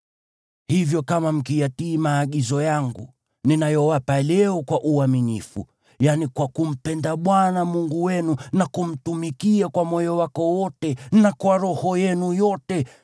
Hivyo kama mkiyatii maagizo yangu ninayowapa leo kwa uaminifu, yaani kwa kumpenda Bwana Mungu wenu, na kumtumikia kwa moyo wako wote na kwa roho yenu yote,